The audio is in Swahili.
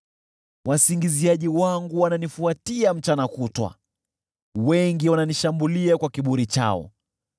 Wasingiziaji wangu wananifuatia mchana kutwa, wengi wananishambulia kwa kiburi chao.